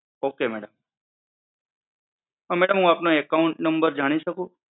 okay madam. હા madam હુ તમારો account number જાણી શકું?